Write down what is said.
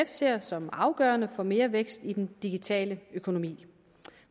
ser som afgørende for mere vækst i den digitale økonomi